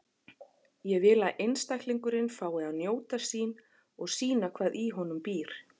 Ég vil að einstaklingurinn fái að njóta sín og sýna hvað í honum býr.